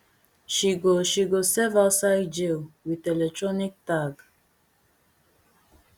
she go she go serve outside jail wit electronic tag